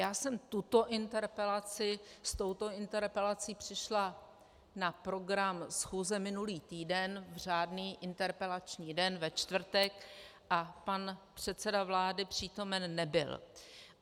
Já jsem s touto interpelací přišla na program schůze minulý týden v řádný interpelační den ve čtvrtek a pan předseda vlády přítomen nebyl.